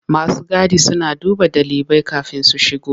Masu gadi suna duba ɗalibai kafin su shigo.